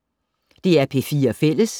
DR P4 Fælles